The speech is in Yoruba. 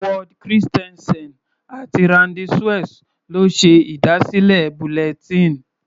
Ward Christensen àti Randy Suess ló ṣe ìdásílẹ̀ bulletin.